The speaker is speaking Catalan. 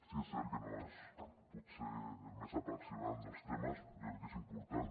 si és cert que no és potser el més apassionant dels temes jo crec que és important